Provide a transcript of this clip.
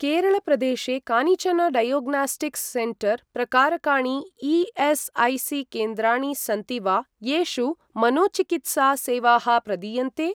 केरळप्रदेशे कानिचन diagnostics centre प्रकारकाणि ई.एस्.ऐ.सी.केन्द्राणि सन्ति वा येषु मनोचिकित्सा सेवाः प्रदीयन्ते?